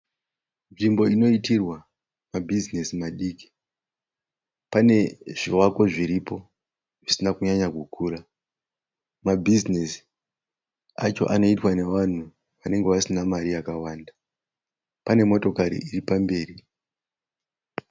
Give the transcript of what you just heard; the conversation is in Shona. Nzvimbo inoitirwa mabhizinesi madiki. Pane zvivako zviripo zvisina kunyanya kukura. Mabhizinesi acho anoitwa nevanhu vanenge vasina mari yakawanda. Pane motokari iri pamberi.